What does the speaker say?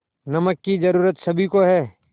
नमक की ज़रूरत सभी को है